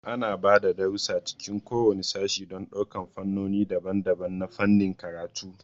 Ana ba da darussa a cikin kowane sashe don ɗaukar fannoni daban-daban na fannin karatu.